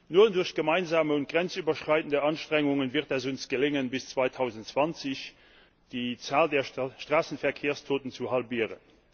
Nur durch gemeinsame und grenzüberschreitende Anstrengungen wird es uns gelingen, bis 2020 die Zahl der Straßenverkehrstoten zu halbieren.